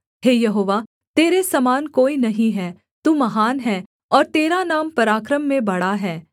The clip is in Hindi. हे यहोवा तेरे समान कोई नहीं है तू महान है और तेरा नाम पराक्रम में बड़ा है